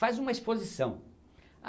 Faz uma exposição.